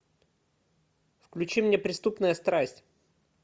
включи мне преступная страсть